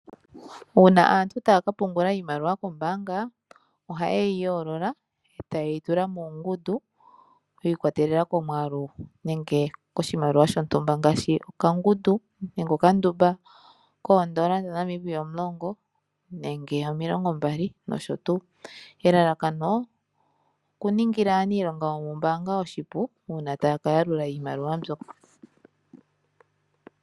Uuna aantu taya ka pungula iimaliwa kombaanga ohaye yi yoolola etaye yi tula muungundu yi ikwatelela komwaalu nenge koshimaliwa shontumba ngaashi okangundu nenge okandumba koondola dhaNamibia omulongo nenge omilongo mbali. Elalakano oku ningila aaniilonga yomombaanga oshipu uuna taya ka yalula iimaliwa mbyoka.